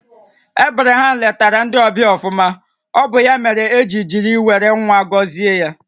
Ebraham lètara ndị ọbịa ọfụma, ọ bụ ya mèrè e ji jiri wéré ńwá gọzie ya